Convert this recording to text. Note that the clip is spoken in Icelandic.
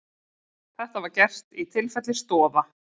Þetta var gert í tilfelli Stoða